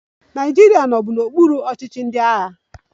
Naịjirịa nọbu n'okpuru ọchịchị ndị agha